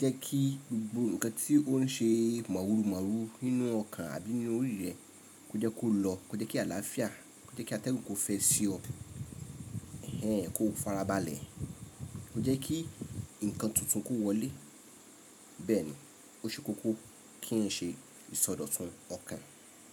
jẹ́ kí gbogbo nnkan tí ó ń ṣe màwùrù máwùrù nínú ọkàn àbí ní orí rẹ kó jẹ́ kó lọ, kó jẹ́ kí àlàáfíà, kó jẹ́ kí atẹ́gùn kó fẹ́ sí ọ, ẹ̀hẹ̀n kó farabalẹ̀, kó jẹ́ kí nnkan tuntun kó wọlé. Bẹ́ẹ̀ni, ó ṣe kókó kí ń ṣe ìsọdọ̀tun ọkàn.